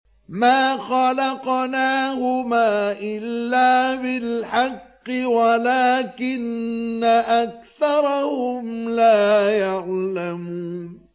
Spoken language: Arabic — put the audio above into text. مَا خَلَقْنَاهُمَا إِلَّا بِالْحَقِّ وَلَٰكِنَّ أَكْثَرَهُمْ لَا يَعْلَمُونَ